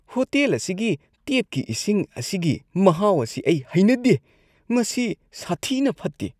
Hotel ꯑꯁꯤꯒꯤ ꯇꯦꯞꯀꯤ ꯏꯁꯤꯡ ꯑꯁꯤꯒꯤ ꯃꯍꯥꯎ ꯑꯁꯤ ꯑꯩ ꯍꯩꯅꯗꯦ, ꯃꯁꯤ ꯁꯥꯊꯤꯅ ꯐꯠꯇꯦ꯫